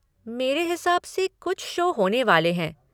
मेरे हिसाब से कुछ शो होने वाले हैं।